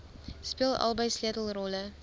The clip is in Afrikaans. speel albei sleutelrolle